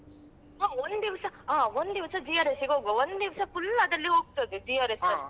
ಹ ಒಂದಿವ್ಸ ಹ ಒಂದಿವ್ಸ GRS ಗೆ ಹೋಗ್ವಾ ಒಂದಿವ್ಸ full ಅದ್ರಲ್ಲಿ ಹೋಗ್ತದೆ GRS ಅಲ್ಲಿ